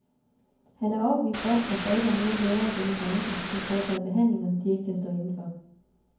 Han er overbevist om, at der ikke er nogen læger i denne branche, som foretager behandlinger, de ikke kan stå inde for.